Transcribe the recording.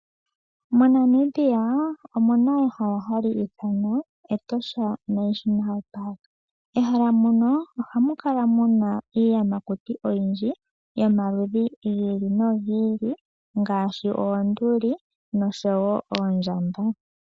MoNamibia omuna ehala hali ithanwa Etosha National Park. Ehala mono ohamu kala muna iiyamakuti oyindji, yomaludhi gi ili nogi ili ngaashi, oonduli nosho wo oondjamba.